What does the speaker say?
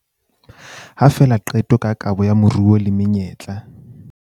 Ha fela qeto ka kabo ya moruo le menyetla